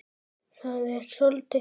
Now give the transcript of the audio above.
Það er soldið fyndið.